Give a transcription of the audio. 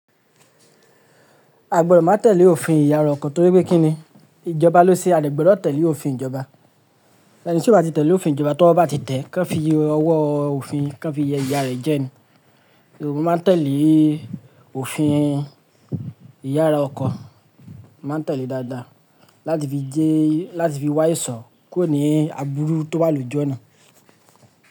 A gbọ́dọ̀ má tẹ̀lé òfin ìyára ọkọ torí pé kí ni ìjọba ló ṣe, a de gbọ́dọ̀ tẹ̀lé òfin ìjọba. Ẹni tí ó bá ti tẹ̀lé òfin ìjọba, towọ́ bá ti tẹ̀, kan fi ọwọ́ òfin kan fi ìyá rẹ̀ jẹ ni. Òwe máa tẹ̀lé òfin ìyára ọkọ, máa tẹ̀lé dádá láti fi jẹ́, láti fi wáìsọ kúro abúrú tó bá lùjọ́ ni.